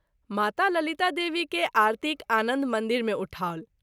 माता ललिता देवी के आरतीक आनन्द मंदिर मे उठाओल।